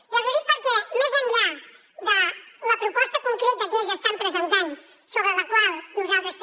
i els ho dic perquè més enllà de la proposta concreta que ells estan presentant sobre la qual nosaltres també